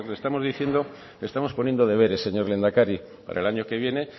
estamos diciendo le estamos poniendo deberes señor lehendakari para el año que viene